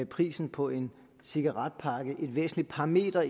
prisen på en cigaretpakke et væsentligt parameter